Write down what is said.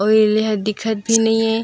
और यह दिखत भी नई हे।